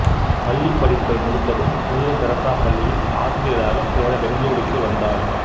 பள்ளிப்படிப்பை முடித்ததும் புனித தெரசா பள்ளியில் ஆசிரியராக சேர பெங்களூருக்கு வந்தார்